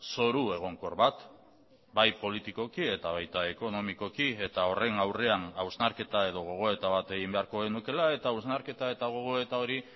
zoru egonkor bat bai politikoki eta baita ekonomikoki eta horren aurrean hausnarketa edo gogoeta bat egin beharko genukeela eta hausnarketa eta gogoeta hori